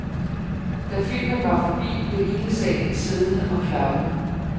Da filmen var forbi, blev hele salen siddende og klappede